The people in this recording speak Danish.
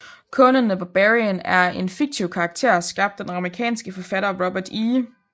Conan the Barbarian er en fiktiv karakter skabt af den amerikanske forfatter Robert E